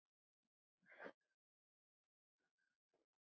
Vélin sjálf